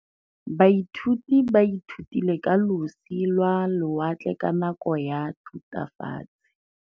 Baithuti ba ithutile ka losi lwa lewatle ka nako ya Thutafatshe.